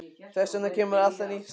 Þess vegna kemur alltaf nýtt stríð.